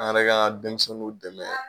An yɛrɛ k'an ka denmisɛnninw dɛmɛ.